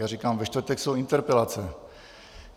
Já říkám - ve čtvrtek jsou interpelace.